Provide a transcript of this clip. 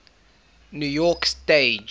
new york stage